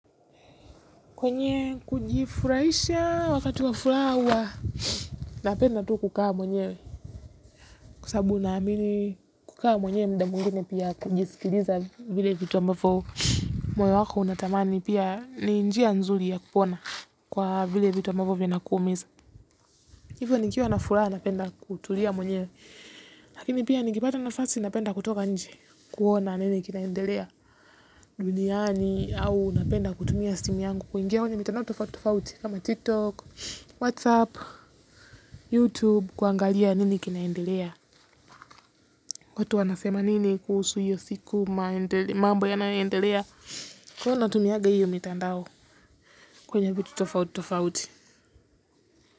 Kwenye kujifuraisha wakati wafuraha hua napenda tu kukaa mwenyewe. Kwa sababu naamini kukaa mwenyewe muda mwingine pia kujisikiliza vile vitu ambavyo moyo wako unatamani pia ni njia nzuri ya kupona kwa vile vitu ambavyo vinakuumiza hivyo nikiwa na furaha napenda kutulia mwenyewe lakini pia nikipata nafasi napenda kutoka nje kuona nini kinaendelea duniani au napenda kutumia simu yangu kuingia kwenye mitandao tofauti tofauti kama tiktok whatsapp, youtube kuangalia nini kinaendelea. Watu wanasema nini kuhusu hiyo siku mambo yanayoendelea hywa natumia hiyo mitandao kwenye vitu tofauti tofauti.